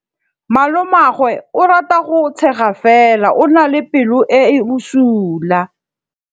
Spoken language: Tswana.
Malomagwe o rata go tshega fela o na le pelo e e bosula.